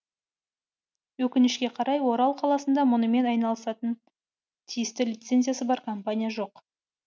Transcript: өкінішке қарай орал қаласында мұнымен айналысатын тиісті лицензиясы бар компания жоқ